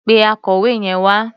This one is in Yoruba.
Pe akọ̀wé yẹn wá.